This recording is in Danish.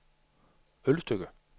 Ølstykke